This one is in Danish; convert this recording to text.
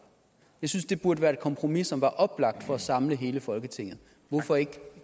jeg synes det burde være et kompromis som var oplagt for at samle hele folketinget hvorfor ikke